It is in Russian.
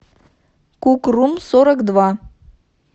кукрумсорокдва